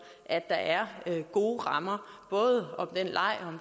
at der er gode rammer både for den leg